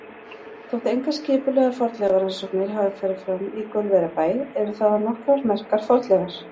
Þótt engar skipulegar fornleifarannsóknir hafi farið fram í Gaulverjabæ eru þaðan nokkrar merkar fornleifar.